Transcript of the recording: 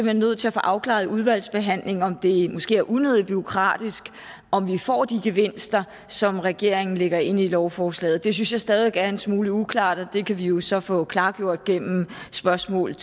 hen nødt til at få afklaret i udvalgsbehandlingen om det måske er unødig bureaukratisk og om vi får de gevinster som regeringen lægger ind i lovforslaget det synes jeg stadig væk er en smule uklart og det kan vi jo så få klargjort gennem spørgsmål